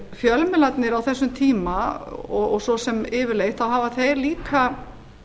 fjölmiðlarnir á þessum tíma og svo sem yfirleitt hafa þeir líka